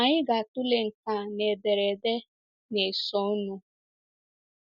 Anyị ga-atụle nke a na ederede na-esonụ.